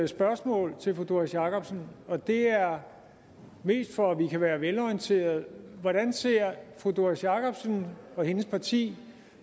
spørgsmål til fru doris jakobsen og det er mest for at vi kan være velorienterede hvordan ser fru doris jakobsen og hendes parti